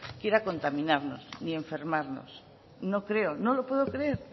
quiera contaminarnos ni enfermarnos no creo no lo puedo creer